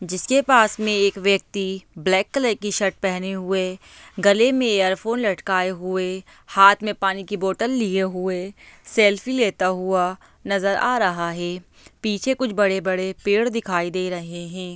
जिसके पास में एक व्यक्ति ब्लैक कलर की शर्ट पहने हुए गले में एअरफोन लटकाये हुए हाथ में पानी की बोटल लिये हुए सेल्फ़ी लेता हुआ नजर आ रहा है पीछे कुछ बड़े बड़े पेड़ दिखाई दे रही हैं।